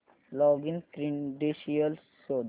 login credentials शोध